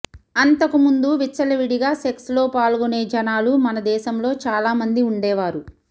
అంతకు ముందు విచ్చలవిడిగా సెక్స్ లో పాల్గొనే జనాలు మనదేశంలో చాలా మంది ఉండేవారు